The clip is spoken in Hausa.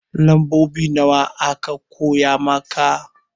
Lambobi nawa aka koya maka?